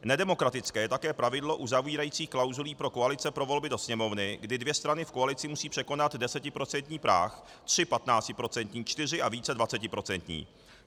Nedemokratické je také pravidlo uzavírající klauzuli pro koalice pro volby do Sněmovny, kdy dvě strany v koalici musí překonat desetiprocentní práh, tři patnáctiprocentní, čtyři a více dvacetiprocentní.